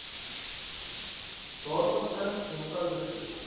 daarvan n eenvoudige